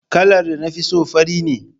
Kalar da na fi so fari ne.